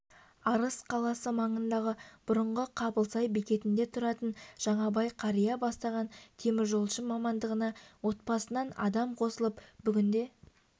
арыс қаласы маңындағы бұрынғы қабылсай бекетінде тұратын жаңабай қария бастаған теміржолшы мамандығына отбасынан адам қосылып бүгінде